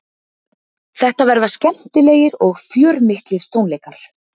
Þetta verða skemmtilegir og fjörmiklir tónleikar